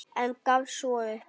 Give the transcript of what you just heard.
En gafst svo upp.